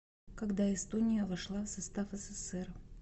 когда эстония вошла в состав ссср